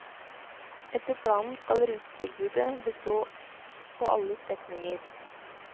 Etter planen skal rutetilbudet bestå på alle strekninger.